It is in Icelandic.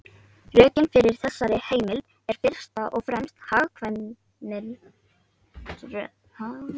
Rökin fyrir þessari heimild eru fyrst og fremst hagkvæmnisrök.